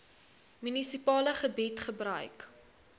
munisipale gebied gebruik